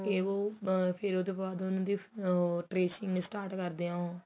ਫ਼ੇਰ ਉਹਦੇ ਬਾਅਦ ਉਹਨੂੰ tracing start ਕਰਦੇ ਹੈ ਉਹ